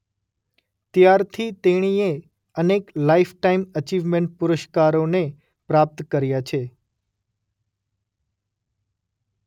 ત્યારથી તેણીએ અનેક લાઇફટાઇમ અચીવમેન્ટ પુરસ્કારોને પ્રાપ્ત કર્યા છે